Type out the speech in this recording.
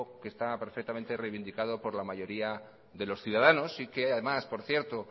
que está perfectamente reivindicado por la mayoría de los ciudadanos y que además por cierto